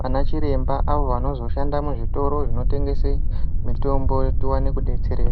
vanachiremba avo vanozoshanda muzvitoro zvinotengese mitombo towane kudetsereka.